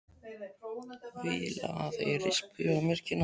Vil að þeir rispi á mér kinnarnar.